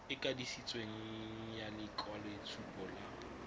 e kanisitsweng ya lekwaloitshupo la